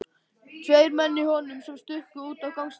Tveir menn í honum sem stukku út á gangstéttina.